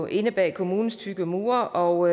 inde bag kommunens tykke mure og